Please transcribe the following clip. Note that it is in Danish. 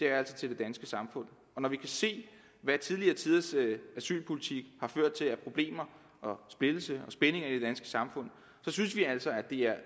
er til det danske samfund når vi kan se hvad tidligere tiders asylpolitik har ført til af problemer og splittelser og spændinger i det danske samfund synes vi altså at det er